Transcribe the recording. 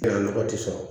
A nɔgɔ tɛ sɔrɔ